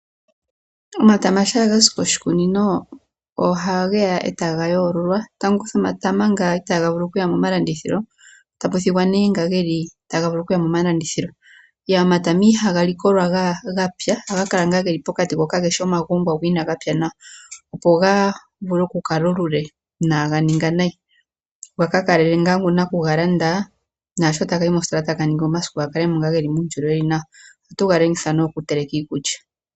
Omatama shaa ga zi koshikunino ohage ya e taga yoololwa. Tamu kuthwa omatama nga itaga vulu okuya momalandithilo tapu thigwa nee nga ge li taga vulu okuya momalandithilo. Omatama ihaga likolwa ga pya ohaga kala ngaa ge li pokati, go kage shi omagongwa go inaga pya nawa, opo ga vule okukala olule inaaga ninga nayi. Ga ka kalelele ngaa nakugalanda, opo naashi taga yi mositola ga ka kale mo ngaa ge li muundjolowele wu li nawa. Ohatu ga longitha okuteleka iikulya.